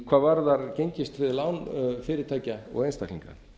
hvað varðar gengistryggð lán fyrirtækja og einstaklinga